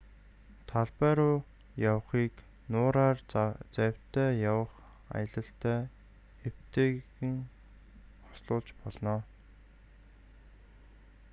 талбай руу явахыг нуураар завьтай явах аялалтай эвтэйхэн хослуулж болно